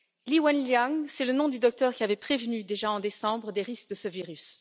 Li Wenliang, c'est le nom du docteur qui avait prévenu, déjà en décembre, des risques de ce virus.